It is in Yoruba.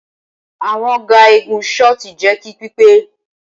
Awọn ga igun shot jẹ ki pipe